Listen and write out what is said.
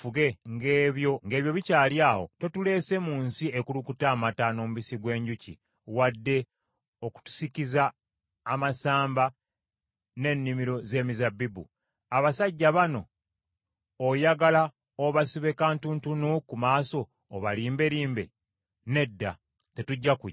Ng’ebyo bikyali awo, totuleese mu nsi ekulukuta amata n’omubisi gw’enjuki, wadde okutusikiza amasamba n’ennimiro z’emizabbibu. Abasajja bano oyagala obasibe kantuntunu ku maaso obalimberimbe? Nedda, tetujja kujja.”